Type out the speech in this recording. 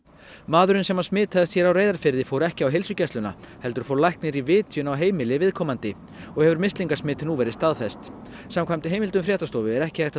maðurinn sem smitaðist hér á Reyðarfirði fór ekki á heilsugæsluna heldur fór læknir í vitjun á heimili viðkomandi og hefur mislingasmit nú verið staðfest samkvæmt heimildum fréttastofu er ekki hægt